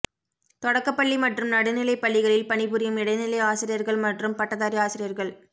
தொடக்கப்பள்ளி மற்றும் நடுநிலை பள்ளிகளில் பணிபுரியும் இடைநிலை ஆசிரியர்கள் மற்றும் பட்டதாரி ஆசிரியர்கள்